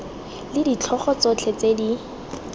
le ditlhogo tsotlhe tse di